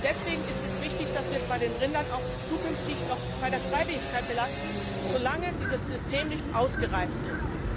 Deswegen ist es richtig, dass wir es bei den Rindern auch künftig bei der Freiwilligkeit belassen, solange dieses System nicht ausgereift ist.